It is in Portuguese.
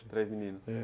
Três meninos. É.